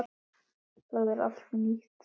Það er allt nýtt.